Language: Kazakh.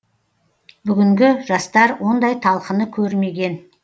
бүгінгі жастар ондай талқыны көрмеген